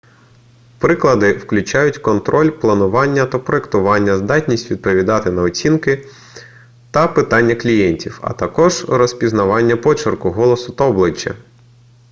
приклади включають контроль планування та проектування здатність відповідати на оцінки та питання клієнтів а також розпізнавання почерку голосу та обличчя